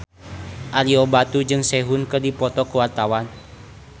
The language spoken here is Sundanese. Ario Batu jeung Sehun keur dipoto ku wartawan